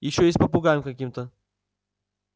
ещё и с попугаем каким-то